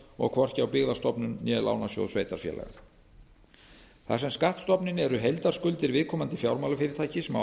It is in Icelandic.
og hvorki á byggðastofnun né lánasjóð sveitarfélaga þar sem skattstofninn er heildarskuldir viðkomandi fjármálafyrirtækis má ætla